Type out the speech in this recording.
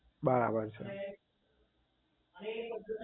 બરાબર છે